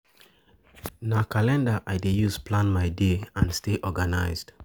Na calendar I dey use to plan my day and stay organized.